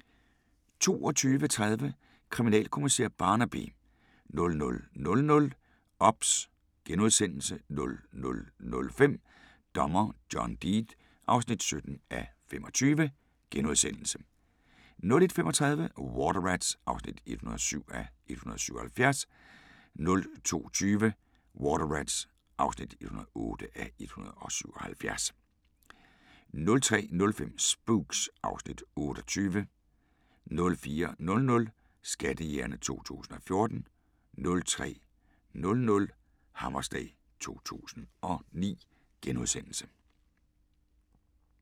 22:30: Kriminalkommissær Barnaby 00:00: OBS * 00:05: Dommer John Deed (17:25)* 01:35: Water Rats (107:177) 02:20: Water Rats (108:177) 03:05: Spooks (Afs. 28) 04:00: Skattejægerne 2014 04:30: Hammerslag 2009 *